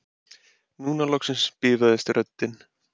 Núna loksins bifaðist röddin